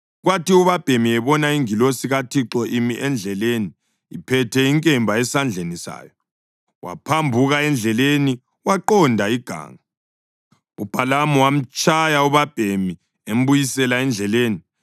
Kwathi ubabhemi ebona ingilosi kaThixo imi endleleni iphethe inkemba esandleni sayo, waphambuka endleleni waqonda iganga. UBhalamu wamtshaya ubabhemi embuyisela endleleni.